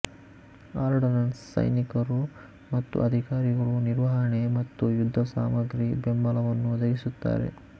ordnance ಸೈನಿಕರು ಮತ್ತು ಅಧಿಕಾರಿಗಳು ನಿರ್ವಹಣೆ ಮತ್ತು ಯುದ್ಧಸಾಮಗ್ರಿ ಬೆಂಬಲವನ್ನು ಒದಗಿಸುತ್ತಾರೆ